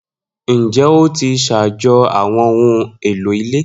Njẹ o ti ṣajọ awọn ohun elo ile